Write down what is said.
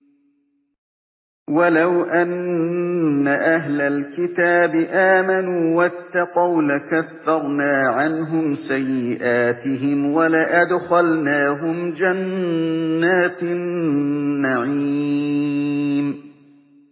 وَلَوْ أَنَّ أَهْلَ الْكِتَابِ آمَنُوا وَاتَّقَوْا لَكَفَّرْنَا عَنْهُمْ سَيِّئَاتِهِمْ وَلَأَدْخَلْنَاهُمْ جَنَّاتِ النَّعِيمِ